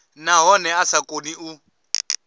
nahone a sa koni u